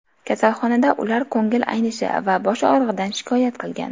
Kasalxonada ular ko‘ngil aynishi va bosh og‘rig‘idan shikoyat qilgan.